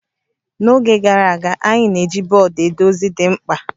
N'oge gara aga, anyị na-eji bọọdụ ede ozi dị mkpa